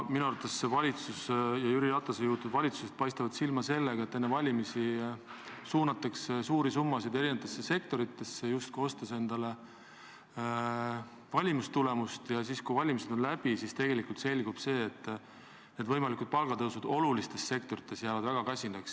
Minu arvates paistab Jüri Ratase juhitud valitsus silma sellega, et enne valimisi suunatakse suuri summasid eri sektoritesse, justkui ostes endale valimistulemust, aga kui valimised on läbi, siis selgub, et võimalikud palgatõusud olulistes sektorites jäävad väga kasinaks.